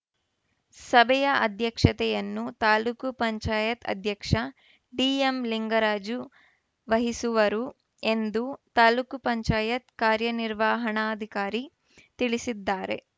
ಸಭೆಯ ಅಧ್ಯಕ್ಷತೆಯನ್ನು ತಾಲೂಕ್ ಪಂಚಾಯತ್ ಅಧ್ಯಕ್ಷ ಡಿಎಂಲಿಂಗರಾಜು ವಹಿಸುವರು ಎಂದು ತಾಲೂಕ್ ಪಂಚಾಯತ್ ಕಾರ್ಯನಿರ್ವಹಣಾಧಿಕಾರಿ ತಿಳಿಸಿದ್ದಾರೆ